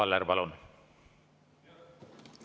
Arvo Aller, palun!